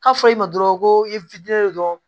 K'a fɔ i ma dɔrɔn ko i dɔrɔn